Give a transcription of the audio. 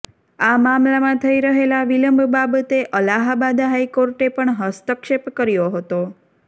આ મામલામાં થઈ રહેલા વિલંબ બાબતે અલાહાબાદ હાઈકોર્ટે પણ હસ્તક્ષેપ કર્યો હતો